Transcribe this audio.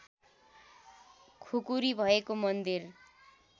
खुकुरी भएको मन्दिर